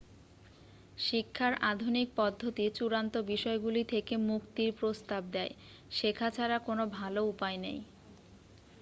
শিক্ষার আধুনিক পদ্ধতি চূড়ান্ত বিষয়গুলি থেকে মুক্তির প্রস্তাব দেয় শেখা ছাড়া কোন ভালো উপায় নেই